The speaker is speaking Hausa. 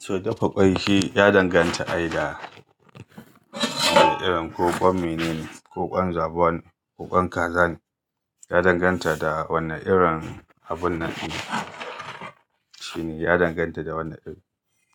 To, dafa ƙwai shi ya danganta da idan ko ƙwai me ne, ko ƙwai zaɓon, ko ƙwai kazan, ya danganta da wanna irin abun nan. Shi ne ya danganta da wannan irin.